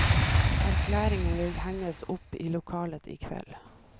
Erklæringen vil henges opp i lokalet i kveld.